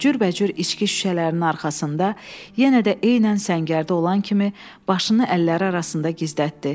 Cürbəcür içki şüşələrinin arxasında yenə də eynən səngərdə olan kimi başını əlləri arasında gizlətdi.